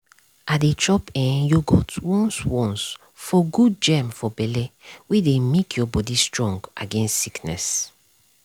i dey chop eh yogurt once once for good germ for belle wey dey make your body strong against sickness.